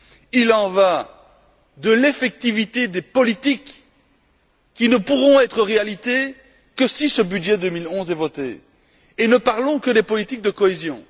Il en va de l'effectivité des politiques qui ne pourront être réalisées que si le budget 2011 est voté. Et nous ne parlons que des politiques de cohésion!